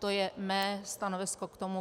To je mé stanovisko k tomu.